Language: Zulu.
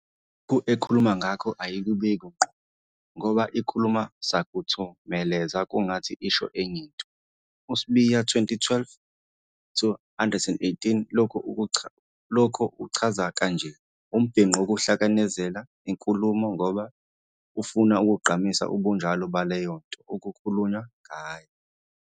Lokhu ekhuluma ngakho ayikubeki ngqo kodwa ikhuluma sakuthemeleza kungathi isho enye into. USibiya, 2012-118, lokhu ukuchaza kanje- "Umbhinqo wukuhlanekezela inkulumo ngoba ufuna ukugqamisa ubunjalo baleyo nto okukhulunywa ngayo."